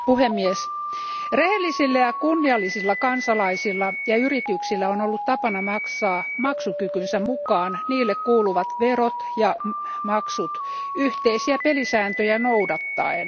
Arvoisa puhemies, rehellisillä ja kunniallisilla kansalaisilla ja yrityksillä on ollut tapana maksaa maksukykynsä mukaan niille kuuluvat verot ja maksut yhteisiä pelisääntöjä noudattaen.